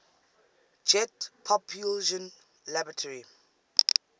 jet propulsion laboratory